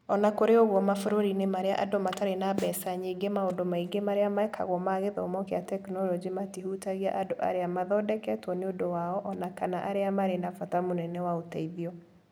O na kũrĩ ũguo, mabũrũri-inĩ marĩa andũ matarĩ na mbeca nyingĩ, maũndũ maingĩ marĩa mekagwo ma gĩthomo kĩa tekinolonjĩ matihutagia andũ arĩa mathondeketwo nĩ ũndũ wao, o na kana arĩa marĩ na bata mũnene wa ũteithio.